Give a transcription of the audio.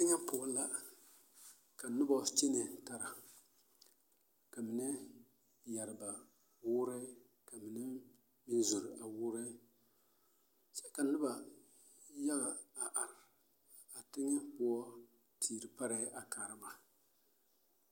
Teŋɛ poɔ la ka noba kyɛnɛ tara ka mine yɛre ba woorɛɛ ka mine meŋ zɛle a woorɛɛ kyɛ ka noba yaɡa a are a teŋɛ poɔ teere parɛɛ a kaara ba.